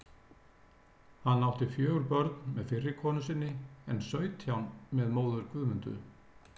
Hann átti fjögur börn með fyrri konu sinni en sautján með móður Guðmundu.